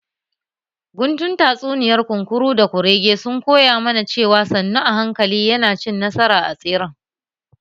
Guntun tsatsuniyar kunkuru da kurege sun koya mana cewa sannu a hankali yana cin nasara a tseren